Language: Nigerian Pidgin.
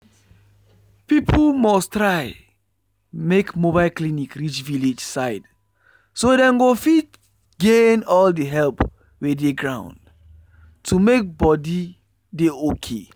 people must try make mobile clinic reach village side so dem go fit gain all the help wey dey ground to make body dey okay.